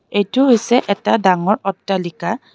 এইটো হৈছে এটা ডাঙৰ অট্টালিকা.